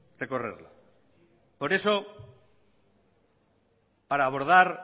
recorrerla por eso para abordar